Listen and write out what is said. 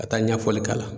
Ka taa ɲɛfɔli k'a la